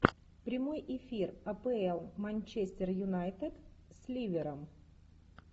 прямой эфир апл манчестер юнайтед с ливером